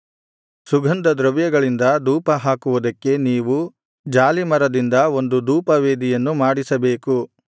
ಸುಗಂಧದ್ರವ್ಯಗಳಿಂದ ಧೂಪಹಾಕುವುದಕ್ಕೆ ನೀವು ಜಾಲೀಮರದಿಂದ ಒಂದು ಧೂಪವೇದಿಯನ್ನು ಮಾಡಿಸಬೇಕು